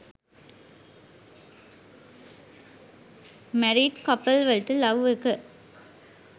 married couple වලට love එක